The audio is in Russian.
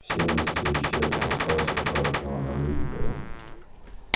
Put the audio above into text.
все мысли исчезли осталось только одно она любит его